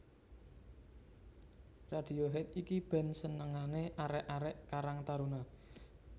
Radiohead iki band senengane arek arek karang taruna